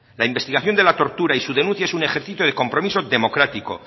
la investigación de la tortura y su denuncia es un ejercicio de compromiso democrático